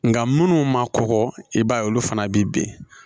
Nka minnu ma kɔgɔ i b'a ye olu fana bɛ bin